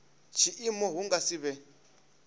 tshiimo hu nga si vhe